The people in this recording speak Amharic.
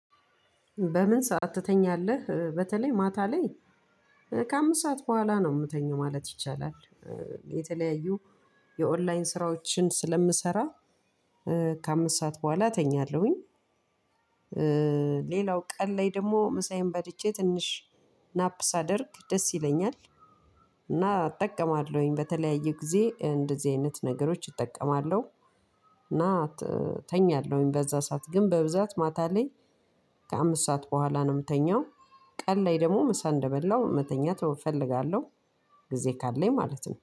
በምን ሰዓት ትተኛለህ በተለይ ማታ ላይ ከአምስት ሰዓት በኋላ ነው የምተኛው ማለት ይቻላል። የተለያዩ የኦንላይን ስራዎችን ስለምሰራ። ከአምስት ሰዓት በኋላ ተኛለሁኝ። ሌላው ቀን ላይ ደግሞ ምሳዬን በልቼ ትንሽ ናፕ ሳደርግ ደስ ይለኛል። እና እጠቀማለሁኝ በተለያዩ ጊዜ እንደዚህ አይነት ነገሮች እጠቀማለሁ። እና ተኛለሁኝ በዛ ሰዓት ግን በብዛት ማታ ላይ ከአምስት ሰዓት በኋላ ነው የምተኛው። ቀን ላይ ደግሞ ምሳ እንደበላው መተኛት እፈልጋለሁ። ጊዜ ካለኝ ማለት ነው